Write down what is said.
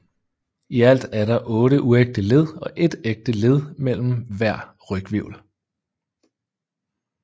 I alt er der 8 uægte led og ét ægte led imellem hver ryghvirvel